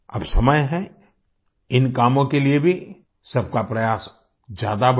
अब समय है इन कामों के लिए भी सबका प्रयास ज्यादा बढ़े